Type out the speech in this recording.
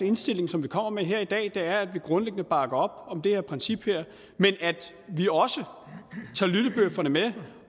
indstilling som vi kommer med her i dag er at vi grundlæggende bakker op om det her princip men at vi også tager lyttebøfferne med